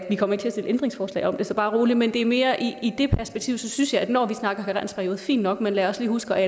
vi kommer til at se et ændringsforslag om det så bare rolig men det er mere i det perspektiv og så synes jeg at når vi snakker karensperiode fint nok men lad os lige huske at